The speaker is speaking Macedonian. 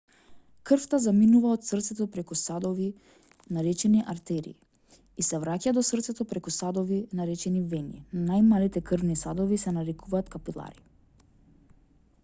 крвта заминува од срцето преку садови наречени артерии и се враќа до срцето преку садови наречени вени најмалите крвни садови се нарекуваат капилари